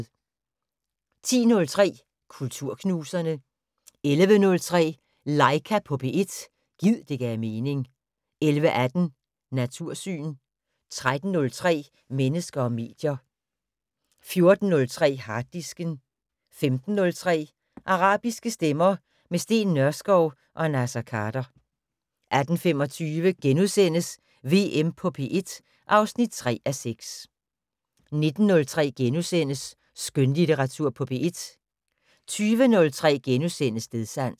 05:03: Sproglaboratoriet * 10:03: Kulturknuserne 11:03: Laika på P1 - gid det gav mening 11:18: Natursyn 13:03: Mennesker og medier 14:03: Harddisken 15:03: Arabiske stemmer - med Steen Nørskov og Naser Khader 18:25: VM på P1 (3:6)* 19:03: Skønlitteratur på P1 * 20:03: Stedsans *